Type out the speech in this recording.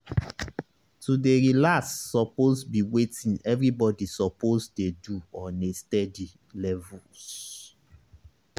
to dey relax suppose be wetin everybody suppose dey do on a steady levels